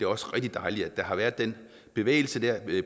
også rigtig dejligt at der har været den bevægelse